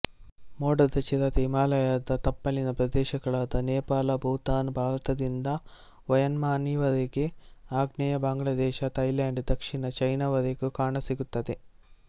ಮೋಡದ ಚಿರತೆ ಹಿಮಾಲಯದ ತಪ್ಪಲಿನ ಪ್ರದೇಶಗಳಾದ ನೇಪಾಳ ಭೂತಾನ್ ಭಾರತದಿಂದ ಮಯನ್ಮಾರಿನವರೆಗೆ ಆಗ್ನೇಯ ಬಾಂಗ್ಲಾದೇಶ ತಯ್ಲ್ಯಾಂಡ್ ದಕ್ಷಿಣ ಚೈನವರೆಗೂ ಕಾಣಸಿಗುತ್ತದೆ